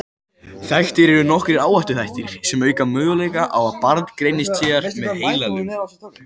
Þekktir eru nokkrir áhættuþættir sem auka möguleika á að barn greinist síðar með heilalömun.